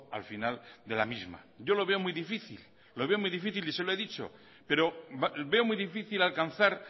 al final de la misma yo lo veo muy difícil y se lo he dicho pero veo muy difícil alcanzar